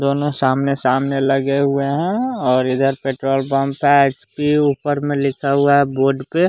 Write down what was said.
दोनों सामने सामने लगे हुए हैं और इधर पेट्रोल पंप है आइस क्यूब ऊपर में लिखा हुआ है बोर्ड पे।